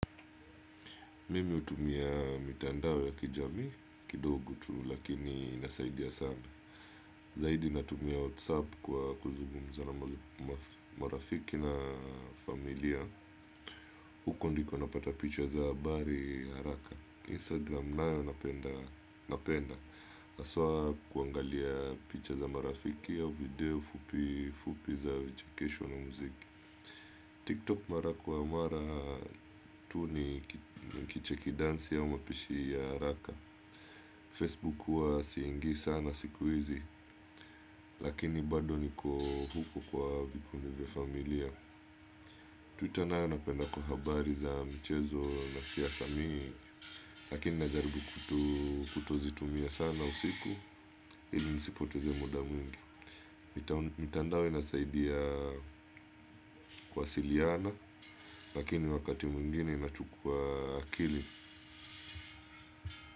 Mimi hutumia mitandao ya kijami kidogo tu lakini inasaidia sana. Zaidi natumia whatsapp kwa kuzugumza na marafiki na familia. Huko ndiko napata picha za habari haraka Instagram nayo napenda haswa kuangalia picha za marafiki au video fupi fupi za vichekesho na muziki TikTok mara kwa mara tu nikicheki dansi au mapishi ya haraka. Facebook huwa siingii sana siku hizi, lakini bado niko huko kwa vikundi vya familia. Tu tena napenda kwa habari za mchezo na siasa mingi, lakini najaribu kutozitumia sana usiku, ili nisipoteze muda mingi. Mitandao inasaidia kuwasiliana, lakini wakati mwingine inachukua akili.